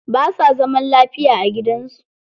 Ba sa zaman lafiya a gidan su.